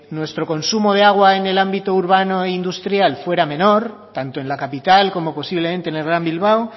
nuestro consumo de agua en el ámbito urbano e industrial fuera menor tanto en la capital como posiblemente en el gran bilbao